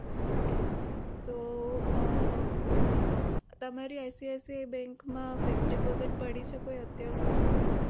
okay so um તમારી ICICI bank માં fix deposit પડી છે કોઈ અત્યાર સુધીમાં?